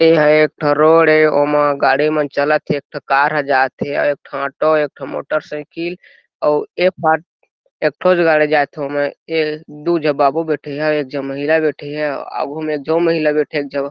यह एक ठो रोड हे ओमा गाड़ी मन चलत हे एक ठो कार ह जाथे अउ एक ठो ऑटो हे एक ठो मोटरसाइकिल अउ ए पाट एक ठो गाड़ी जाथे वो मे दू जो बाबू बैठे हे एक जो महिला बैठे हे आगू में जो महिला बैठे हे एक जो --